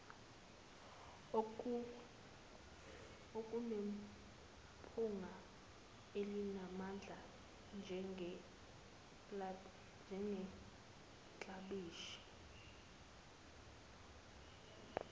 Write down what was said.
okunephunga elinamandla njengeklabishi